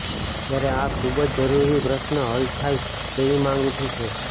ત્યારે આ ખુબ જ જરૂરી પ્રશ્ર્ન હલ થાય તેવી માંગ ઉઠી છે